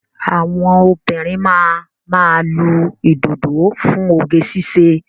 Àwọn òbinrín máa ma lu ìdodo fún oge ṣíṣe